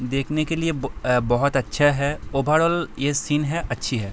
देखने के लिए ब बहोत अच्छा है। ओवरआल यह सीन है अच्छी है।